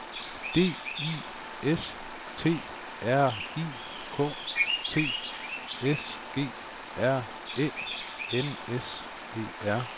D I S T R I K T S G R Æ N S E R